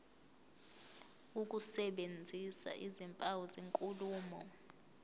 ukusebenzisa izimpawu zenkulumo